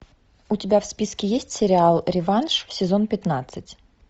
у тебя в списке есть сериал реванш сезон пятнадцать